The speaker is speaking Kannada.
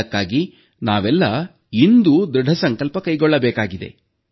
ಅದಕ್ಕಾಗಿ ನಾವೆಲ್ಲಾ ಇಂದು ದೃಢಸಂಕಲ್ಪ ಕೈಗೊಳ್ಳಬೇಕಿದೆ